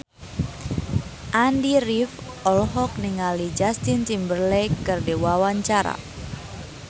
Andy rif olohok ningali Justin Timberlake keur diwawancara